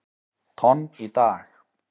tonn í dag.